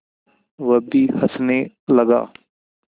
वह भी हँसने लगा